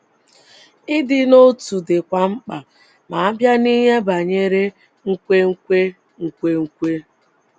Ịdị n’otu dịkwa mkpa ma a bịa n’ihe banyere nkwenkwe. nkwenkwe.